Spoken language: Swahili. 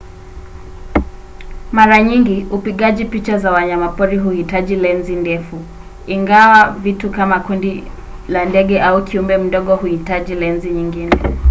mara nyingi upigaji picha za wanyamapori huhitaji lenzi ndefu ingawa vitu kama kundi la ndege au kiumbe mdogo huhitaji lenzi nyingine